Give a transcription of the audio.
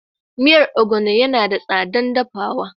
Miyar ogbono yana da sadan dafawa